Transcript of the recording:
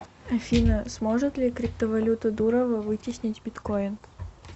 афина сможет ли криптовалюта дурова вытеснить биткойн